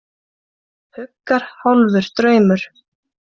Huggar hálfur draumur.